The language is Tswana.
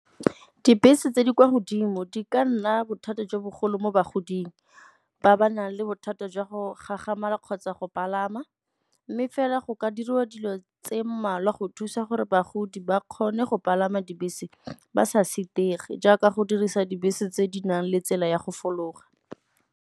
Dibese tse di kwa godimo di ka nna bothata jo bogolo mo bogoding ba ba nang le bothata jwa go gagamatsa kgotsa go palama. Mme fela go ka diriwa dilo tse mmalwa go thusa gore bagodi ba kgone go palama dibese ba sa sitege jaaka go dirisa dibese tse di nang le tsela ya go fologa.